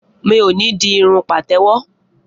Mi ò ní di irun pàtẹ́wọ́.